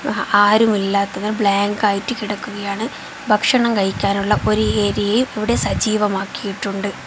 അ ആരും ഇല്ലാത്തത് ബ്ലാങ്ക് ആയിട്ട് കിടക്കുകയാണ് ഭക്ഷണം കഴിക്കാനുള്ള ഒരു ഏരിയയും ഇവിടെ സജീവമാക്കിയിട്ടുണ്ട്.